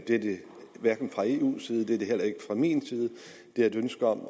det er det hverken fra eus eller min side det er et ønske om